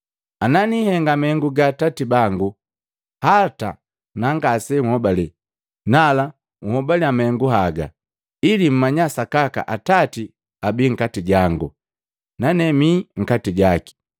Ana nihenga mahengu ga Atati bangu, hata na ngase nhobalela, nala unhobaliya mahengu haga. Ili mmanya sakaka Atati abii nkati jangu, nane mi nkati jaki.”